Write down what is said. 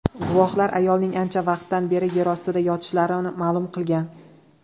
Guvohlar ayolning ancha vaqtdan beri yerostida yotishini ma’lum qilgan.